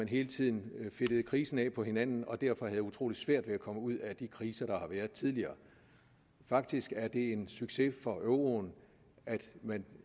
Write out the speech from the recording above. hele tiden fedtede krisen af på hinanden og derfor havde utrolig svært ved at komme ud af de kriser der har været tidligere faktisk er det en succes for euroen at man